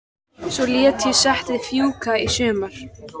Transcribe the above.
Svo lét ég settið fjúka í sumar.